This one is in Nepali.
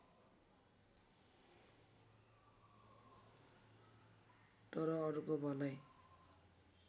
तर अरूको भलाइ